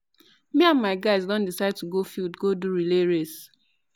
me and my guys don decide to go field go do relay race